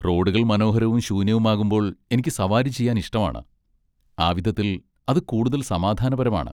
റോഡുകൾ മനോഹരവും ശൂന്യവുമാകുമ്പോൾ എനിക്ക് സവാരി ചെയ്യാൻ ഇഷ്ടമാണ്, ആ വിധത്തിൽ, അത് കൂടുതൽ സമാധാനപരമാണ്.